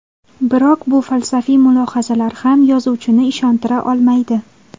Biroq bu falsafiy mulohazalar ham yozuvchini ishontira olmaydi.